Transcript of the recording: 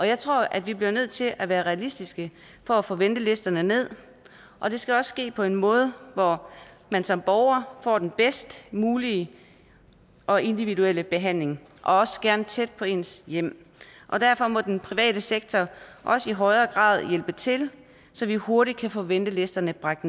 jeg tror at vi bliver nødt til at være realistiske for at få ventelisterne ned og det skal også ske på en måde hvor man som borger får den bedst mulige og individuelle behandling og også gerne tæt på ens hjem derfor må den private sektor også i højere grad hjælpe til så vi hurtigt kan få ventelisterne bragt